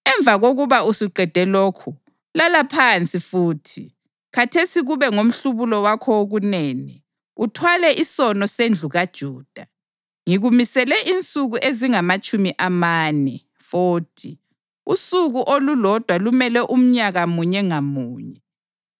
Emva kokuba usuqede lokhu, lala phansi futhi, khathesi kube ngomhlubulo wakho wokunene, uthwale isono sendlu kaJuda. Ngikumisele insuku ezingamatshumi amane (40), usuku olulodwa lumele umnyaka munye ngamunye.